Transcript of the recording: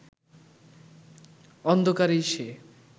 অন্ধকারেই সে